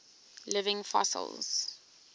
living fossils